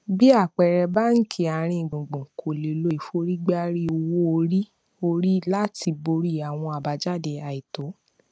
bí àpẹẹrẹ báńkì àárín gbùngbùn kò lè lo ìforígbárí owó orí orí láti borí àwọn àbájáde àìtó